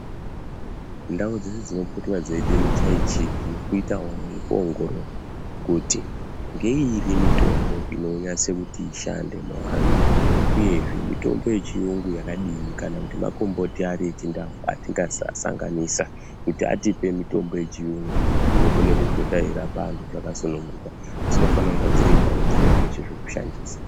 Ndau dzeshe dzinopotwe dzeipemuchayitsiki nekuitawo nekuongorora kuti ngeiri mitombo inonyase kuti ishande muvantu uyezve mitombo yechiyungu yakadini kana kuti makomboti ari echindau atingasanganisa kuti atipe mitombo yechiyungu inokone kupota yeirapa anhu zvakasunguka dzinofane kunga dziri ndau dzinezveshe zvekushandisa.